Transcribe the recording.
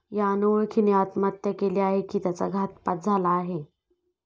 या अनोळखीने आत्महत्या केली आहे की त्याचा घातपात झाला आहे?